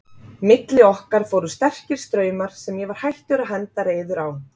Milli okkar fóru sterkir straumar sem ég var hættur að henda reiður á.